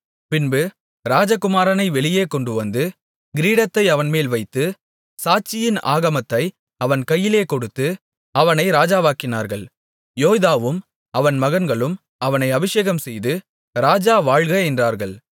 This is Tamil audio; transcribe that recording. பின்பு ராஜகுமாரனை வெளியே கொண்டுவந்து கிரீடத்தை அவன்மேல் வைத்து சாட்சியின் ஆகமத்தை அவன் கையிலே கொடுத்து அவனை ராஜாவாக்கினார்கள் யோய்தாவும் அவன் மகன்களும் அவனை அபிஷேகம்செய்து ராஜா வாழ்க என்றார்கள்